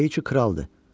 Deyir ki, kraldır.